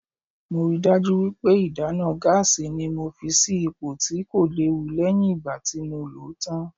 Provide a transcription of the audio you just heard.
Mo ríi dájú wípé ìdáná gáásì ni mo fi sì ipò tí kò léwu lẹ́yìn ìgbà tí mo lòó tán.